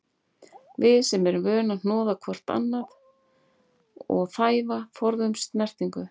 Við sem erum vön að hnoða hvort annað og þæfa, forðumst snertingu.